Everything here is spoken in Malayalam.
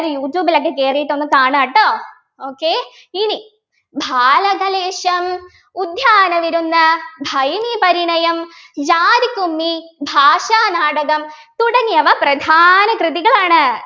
എല്ലാവരും യൂട്യൂബിലൊക്കെ കേറീട്ടൊന്നു കാണുക ട്ടോ okay ഇനി ബാലാകലേശം ഉദ്യാനവിരുന്ന് ഭൈമീപരിണയം ജാതിക്കുമ്മി ഭാഷാനാടകം തുടങ്ങിയവ പ്രധാന കൃതികളാണ്